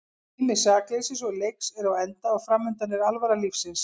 Tími sakleysis og leiks er á enda og framundan er alvara lífsins.